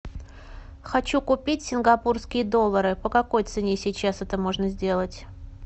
хочу купить сингапурские доллары по какой цене сейчас это можно сделать